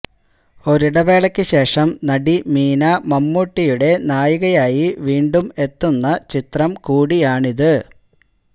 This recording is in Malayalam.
ഒരിടവേളയ്ക്ക് ശേഷം നടി മീന മമ്മൂട്ടിയുടെ നായികയായി വീണ്ടും എത്തുന്ന ചിത്രം കൂടിയാണിത്